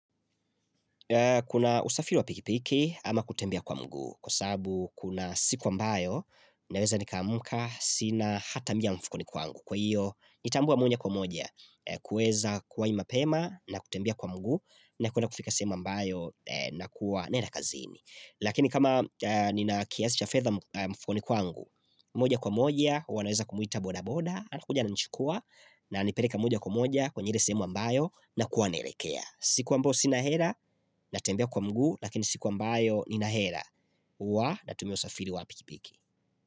Kuna usafiri wapikipiki ama kutembea kwa mguu kwa sabu kuna siku ambayo naweza nikamuka sina hata mia mfukoni kwa angu kwa hiyo nitambua mwenye kwa moja kuweza kuwa imapema na kutembea kwa mguu na kuna kufika sehemu ambayo na kuwa naenda kazini. Lakini kama nina kiasi cha fedha mfukoni kwangu moja kwa moja wanaweza kumuita boda boda Anakujana ananichukua na nipeleka moja kwa moja kwenye ile sehemu ambayo na kuanerekea siku ambo sinahera natembea kwa mguu Lakini siku ambayo ninahera Uwa natumia usafiri wapikipiki.